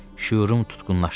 Şüurum tutqunlaşdı.